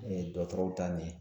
dɔkɔtɔrɔw ta ɲɛ